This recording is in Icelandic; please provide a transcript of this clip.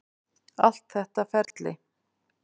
Allt þetta ferli.